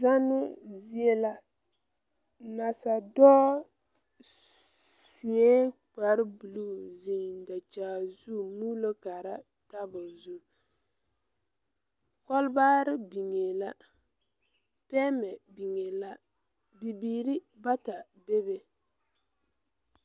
Zannoo zie la nasadɔɔ suee kparebluu zeŋ dakyag zu muulo kaara tabole zu kɔlbaare biŋee la pɛɛmɛ biŋee la Bibiire bata bebe.